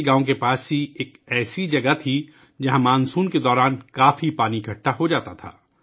گاؤں کے قریب ہی ایک ایسی جگہ تھی ، جہاں مانسون میں بہت سا پانی جمع ہو جاتا تھا